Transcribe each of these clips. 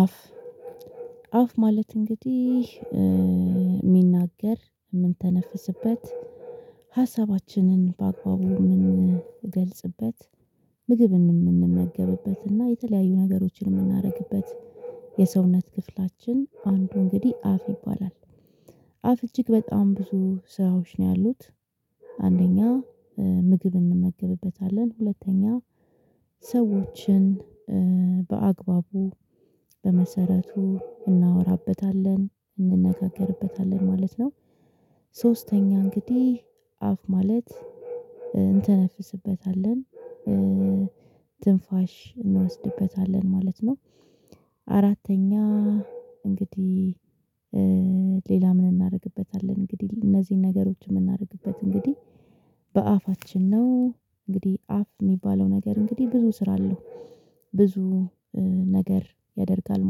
አፍ አፍ ማለት እንግዲህ የሚናገር፣ የምንተነፍስበት፣ ሀሳባችንን በአግባቡ የምንገልጽበት፣ ምግብ የምንመገብበትና የተለያዩ ነገሮችን የምናደርግበት የሰውነት ክፍላችን አንዱ እንግዲህ አፍ ይባላል። አፍ እጅግ በጣም ብዙ ስራዎች ነው ያሉት አንደኛ ምግብ እንመገብበታለን፣ ሁለተኛ ሰዎችን በአግባቡ በመሰረቱ እናወራበታለን፣ እንነጋገርበታለን ማለት ነው። ሶስተኛ እንግዲህ አፍ ማለት እንተነፍስበታለን፣ ትንፋሽ እንወስድበታለን ማለት ነው። አራተኛ እንግዲህ ሌላ ምን እናደርግበታለን እንግዲህ እነዚህን ነገሮች የምናደርግበት እንግዲህ በአፋችን ነው። እንግዲህ አፍ የሚባለው ነገር እንግዲህ ብዙ ስራ አለው ብዙ ነገር ያደርጋል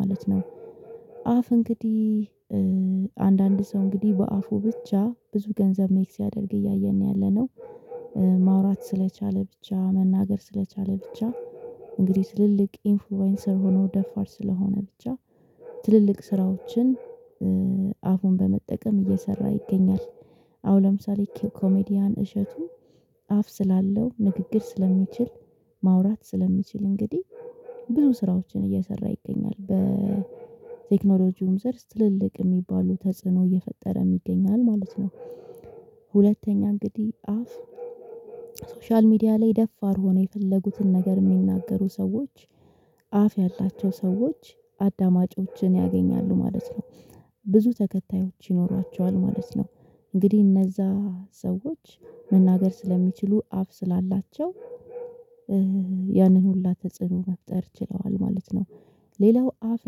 ማለት ነው። አፍ እንግዲህ አንዳንድ ሰው እንግዲህ በአፉ ብቻ ብዙ ገንዘብ ሜክ ሲያደርግ እያየን ነው ያለነው ማውራት ስለቻለ ብቻ መናገር፣ ስለቻለ ብቻ እንግዲህ ትልልቅ ኢንፍሉዌንሰር ሆኖ ደፋር ስለሆነ ብቻ ትልልቅ ስራዎችን አፉን በመጠቀም እየሰራ ይገኛል አሁን ለምሳሌ ኮሜዲያን እሸቱ አፍ ስላለው ንግግር ስለሚችል፣ ማውራት ስለሚችል እንግዲህ ብዙ ስራዎችን እየሰራ ይገኛል በቴክኖሎጂውም ዘርፍ ትልልቅ የሚባሉ ተጽዕኖ እየፈጠረ ይገኛል ማለት ነው። ሁለተኛ እንግዲህ አፍ ሶሻል ሚዲያ ላይ ደፋር ሆነው የፈለጉትን ነገር የሚናገሩ ሰዎች አፍ ያላቸው ሰዎች አዳማጮችን ያገኛሉ ማለት ነው፣ ብዙ ተከታዮች ይኖሯቸዋል ማለት ነው፣ እንግዲህ እነዛ ሰዎች መናገር ስለሚችሉ አፍ ስላላቸው ያንን ሁላ ተጽዕኖ መፍጠር ችለዋል ማለት ነው። ሌላው አፍ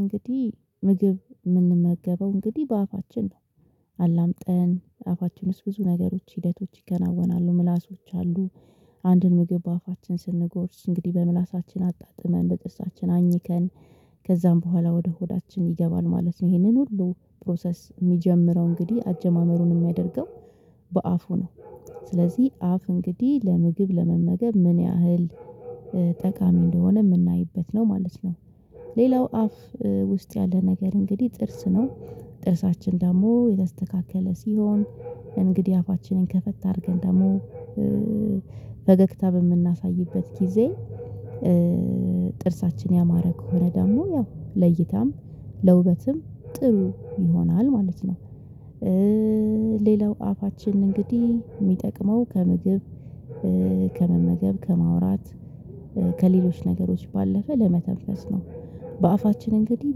እንግዲህ ምግብ የምንመገበው እንግዲህ በአፋችን ነው አላምጠን አፋችን ዉስጥ ብዙ ነገሮች ሂደቶች ይከናወናሉ ምላሶች አሉ። አንድን ምግብ በአፋችን ስንጎርስ እንግዲህ በምላሳችን አጣጥመን፣ በጥርሳችን አኝከን ከዛም በኋላ ወደ ሆዳችን ይገባል ማለት ነው ይሄንን ሁሉ ፕሮሰስ የሚጀምረው እንግዲህ አጀማመሩን የሚያደርገው በአፉ ነው ስለዚህ አፍ እንግዲህ ለምግብ ለመመገብ ምን ያህል ጠቃሚ እንደሆነ የምናይበት ነው ማለት ነው። ሌላው አፍ ውስጥ ያለ ነገር እንግዲህ ጥርስ ነው ጥርሳችን ደግሞ የተስተካከለ ሲሆን እንግዲህ አፋችንን ከፈት አድርገን ደግሞ በገግታ በምናሳይበት ጊዜ ጥርሳችን ያማረ ከሆነ ደግሞ ያው ለይታም፣ ለውበትም ጥሩ ይሆናል ማለት ነው። ሌላው አፋችን እንግዲህ የሚጠቅመው ከምግብ ከመመገብ፣ ከማውራት ከሌሎች ነገሮች ባለፈ ለመተንፈስ ነው። በአፋችን እንግዲህ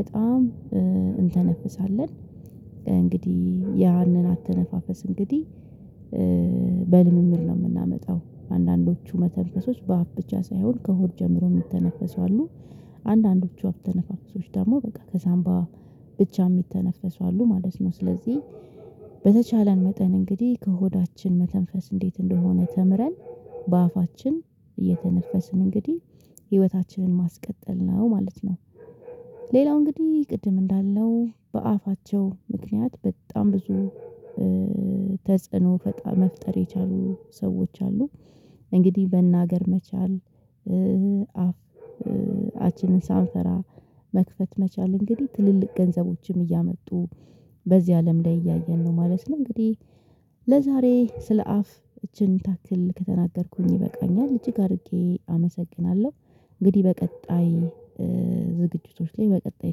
በጣም እንተነፍሳለን እንግዲህ ያንን አተነፋፈስ እንግዲህ በልምምድ ነው የምናመጣው አንዳንዶቹ መተንፈሶች በአፍ ብቻ ሳይሆን ከሆድ ጀምሮ የሚተነፈሱ አሉ አንዳንዶቹ አተነፋፈሶች ደግሞ በቃ ከሳምባ ብቻ የሚተነፈሱ አሉ ማለት ነው ስለዚህ በተቻለን መጠን እንግዲህ ከሆዳችን መተንፈስ እንዴት እንደሆነ ተምረን በአፋችን እየተነፈስን እንግዲህ ህይወታችንን ማስቀጠል ነው ማለት ነው። ሌላው እንግዲህ ቅድም እንዳለው በአፋቸው ምክንያት በጣም ብዙ ተጽዕኖ ፈጣሪ መፍጠር የቻሉ ሰዎች አሉ፣ እንግዲህ መናገር መቻል አፍ አፋችንን ሳንፈራ መክፈት መቻል እንግዲህ ትልልቅ ገንዘቦችም እያመጡ በዚህ አለም ላይ እያየን ነው ማለት ነው እንግዲህ ለዛሬ ስለ አፍ እቺን ታክል ከተናገርኩኝ ይበቃኛል እጅግ አድርጌ አመሰግናለሁ። እንግዲህ በቀጣይ ዝግጅቶች ላይ በቀጣይ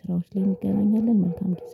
ስራዎች ላይ እንገናኛለን መልካም ጊዜ።